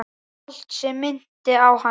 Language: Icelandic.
Allt sem minnti á hana.